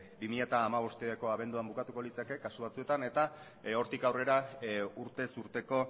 bi mila hamabosteko abenduan bukatuko litzake kasu batzuetan eta hortik aurrera urtez urteko